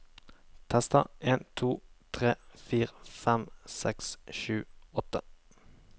Tester en to tre fire fem seks sju åtte